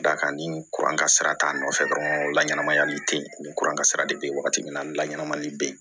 D'a kan ni kuran kasara t'a nɔfɛ dɔrɔn la ɲɛnamayali tɛ yen ni kuran kasara de bɛ yen wagati min na ni laɲɛnmali bɛ yen